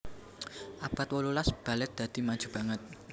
Abad wolulas balèt dadi maju banget